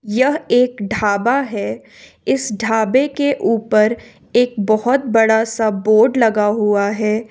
यह एक ढाबा है इस ढाबे के ऊपर एक बहुत बड़ा सा बोर्ड लगा हुआ है।